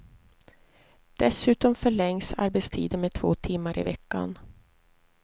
Dessutom förlängs arbetstiden med två timmar i veckan.